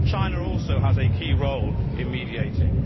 China also has a key role in mediating.